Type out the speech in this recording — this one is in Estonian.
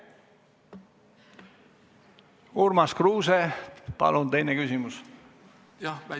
Urmas Kruuse, palun teine küsimus!